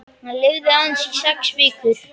Hann lifði aðeins í sex vikur.